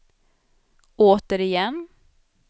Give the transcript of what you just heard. återigen